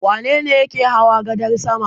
Wane ne yake hawa gadar sama?